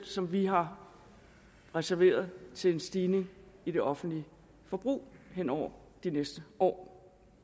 som vi har reserveret til en stigning i det offentlige forbrug hen over de næste år